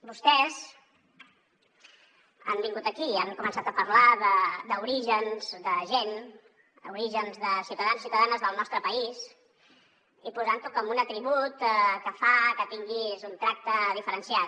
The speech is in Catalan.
vostès han vingut aquí i han començat a parlar d’orígens de gent d’orígens de ciutadans i ciutadanes del nostre país i posant ho com un atribut que fa que tinguis un tracte diferenciat